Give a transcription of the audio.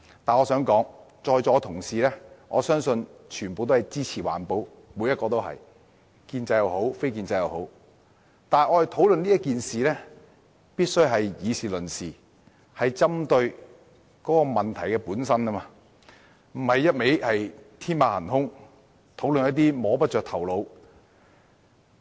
我相信在座各位同事皆支持環保，無論是建制派或非建制派的議員都支持環保，但我們必須以事論事，針對問題本身，而不是天馬行空地討論一些摸不着頭腦的事情。